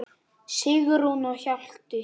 Sigrún og Hjalti.